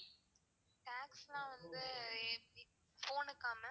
tax லாம் வந்து எப்டி phone க்கா ma'am